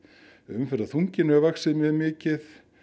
umferðarþunginn hefur vaxið mjög mikið